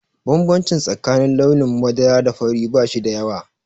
Bambanci tsakanin launin madara da fari ba shi da yawa.